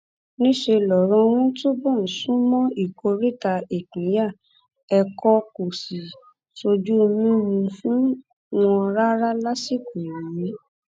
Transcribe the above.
níṣẹ lọrọ wọn túbọ ń sún mọ ìkóríta ìpínyà ẹkọ kó sì ṣojú mímu fún wọn rárá lásìkò yìí